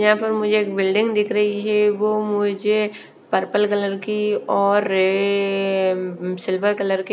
यहाँ पर मुझे एक बिल्डिंग दिख रही है वो मुझे पर्पल कलर की और ए सिल्वर कलर की --